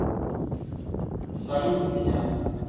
салют меня